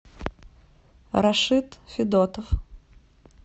рашид федотов